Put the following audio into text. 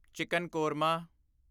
chicken korma